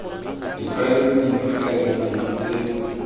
ditlwaelo dife kana dife tse